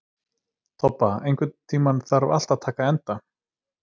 Tobba, einhvern tímann þarf allt að taka enda.